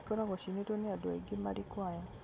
ingĩ ikoragwo ciinĩtwo nĩ andũ aingĩ marĩ kwaya